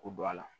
K'o don a la